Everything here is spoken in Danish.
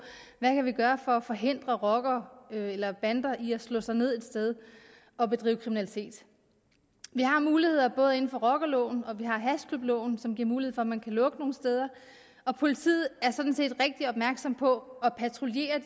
hvad vi kan gøre for at forhindre rockere eller bander i at slå sig ned et sted og bedrive kriminalitet vi har muligheder både inden for rockerloven og hashklubloven som giver mulighed for at man kan lukke nogle steder og politiet er sådan set rigtig opmærksom på at patruljere